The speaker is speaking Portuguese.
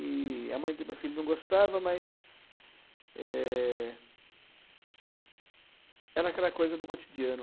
e a mãe do meu filho não gostava, mas é, era aquela coisa do cotidiano.